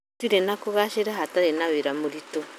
Gũtirĩ na kũgacĩra hatarĩ na wĩra mũritũ